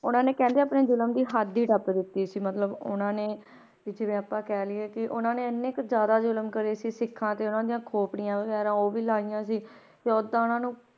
ਉਹਨਾਂ ਨੇ ਕਹਿੰਦੇ ਆਪਣੇ ਜ਼ੁਲਮ ਦੀ ਹੱਦ ਹੀ ਟੱਪ ਦਿੱਤੀ ਸੀ ਮਤਲਬ ਉਹਨਾਂ ਨੇ ਵੀ ਜਿਵੇਂ ਆਪਾਂ ਕਹਿ ਲਈਏ ਕਿ ਉਹਨਾਂ ਨੇ ਇੰਨੇ ਕੁ ਜ਼ਿਆਦਾ ਜ਼ੁਲਮ ਕਰੇ ਸੀ ਸਿੱਖਾਂ ਤੇ ਉਹਨਾਂ ਦੀਆਂ ਖੋਪੜੀਆਂ ਵਗ਼ੈਰਾ ਉਹ ਵੀ ਲਾਹੀਆਂ ਸੀ, ਤੇ ਓਦਾਂ ਉਹਨਾਂ ਨੂੰ